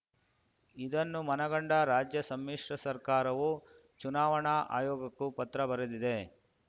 ಇದನ್ನು ಮನಗಂಡ ರಾಜ್ಯ ಸಮ್ಮಿಶ್ರ ಸರ್ಕಾರವು ಚುನಾವಣಾ ಆಯೋಗಕ್ಕೂ ಪತ್ರ ಬರೆದಿದೆ